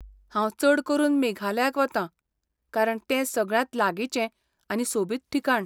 हांव चड करून मेघालयाक वतां, कारण तें सगळ्यांत लागींचें आनी सोबीत ठिकाण.